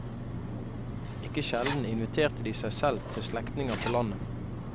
Ikke sjelden inviterte de seg selv til slektninger på landet.